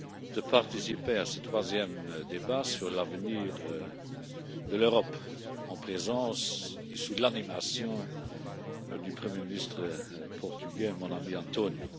de participer à ce troisième débat sur l'avenir de l'Europe en présence et sous l'animation du Premier ministre portugais, mon ami António.